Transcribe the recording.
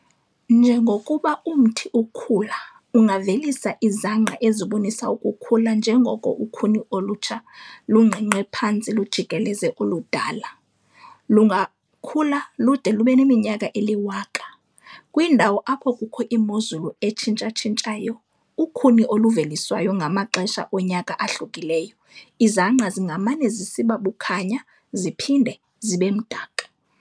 Njengokuba umthi ukhula, ungavelisa izangqa ezibonisa ukukhula njengoko ukhuni olutsha lungqengqe phantsi lujikeleze oludala. lungakhula lude lubeneminyaka eliwaka. kwindawo apho kukho imozulu etshintsha-tshintshayo, ukhuni oluveliswayo ngamaxesha onyaka ahlukileyo izangqa zingamane zisiba bukhanya ziohinde zibemdaka.